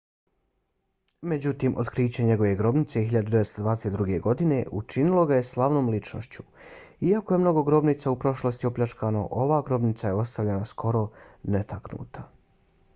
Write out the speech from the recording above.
međutim otkriće njegove grobnice 1922. godine učinilo ga je slavnom ličnošću. iako je mnogo grobnica u prošlosti opljačkano ova grobnica je ostavljena skoro netaknuta